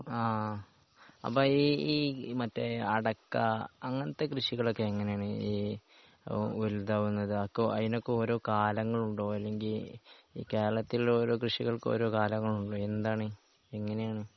ആ അപ്പോ ഈ ഈ മറ്റേ അടക്ക അങ്ങനത്തെ കൃഷികൾ ഒക്കെ എങ്ങനെയാണ് ഈ ഒരുതവണ ഇതാകും അതിനൊക്കെ ഓരോ കാലങ്ങളുണ്ടോ അല്ലെങ്കി ഈ കേരളത്തിൽ ഉള്ള ഓരോ കൃഷികൾക്കും ഓരോ കാലങ്ങളുണ്ടോ എന്താണ് എങ്ങനെയാണ്?